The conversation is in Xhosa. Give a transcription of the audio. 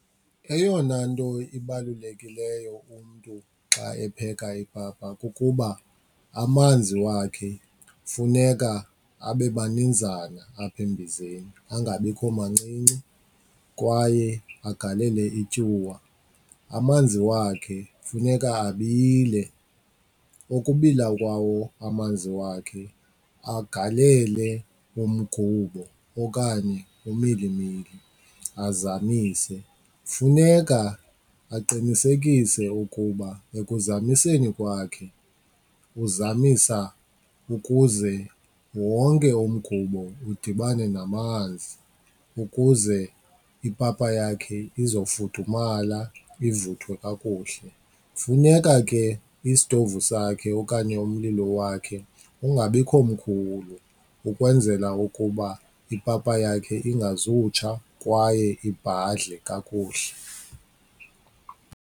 Eyona nto ibalulekileyo umntu xa epheka ipapa kukuba amanzi wakhe funeka abe maninzana apha embizeni, angabikho mancinci kwaye agalele ityuwa. Amanzi wakhe funeka abile. Ukubila kwawo amanzi wakhe agalele umgubo okanye umilimili azamise. Funeka aqinisekise ukuba ekuzamiseni kwakhe uzamisa ukuze wonke umgubo udibane namanzi ukuze ipapa yakhe izofudumala ivuthwe kakuhle. Funeka ke isitovu sakhe okanye umlilo wakhe ungabikho mkhulu ukwenzela ukuba ipapa yakhe ingazutsha kwaye ibhadle kakuhle.